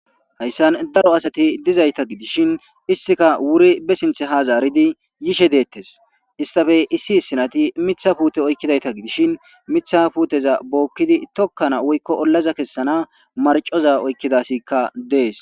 Hayssan daro asati dizayssa gidishin isttika ba sinthi ha zaaridi yishe deetes isstape issi issi nayti miththa puute oykidayta gidishin miththa puuteza tookidi woyko tokana ollaza kessana marcco oykida asi dees.